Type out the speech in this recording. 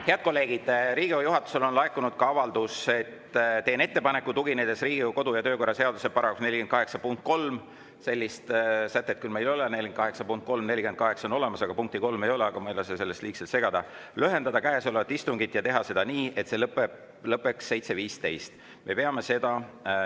Head kolleegid, Riigikogu juhatusele on laekunud avaldus: "Teen ettepaneku, tuginedes Riigikogu kodu‑ ja töökorra seaduse § 48 punktile 3" – sellist sätet küll meil ei ole, § 48 punkti 3, § 48 on olemas, aga punkti 3 ei ole, aga ma ei lase end sellest liigselt segada –, "lühendada käesolevat istungit ja teha seda nii, et see lõppeks 7.15.